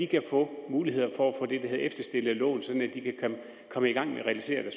kan få mulighed for at få det der hedder efterstillede lån sådan at de kan komme i gang med at realisere